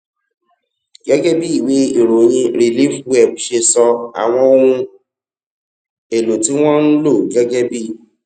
gégé bí ìwé ìròyìn reliefweb ṣe sọ àwọn ohun èlò tí wón ń lò gégé bí